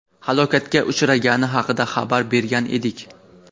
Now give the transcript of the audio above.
halokatga uchragani haqida xabar bergan edik.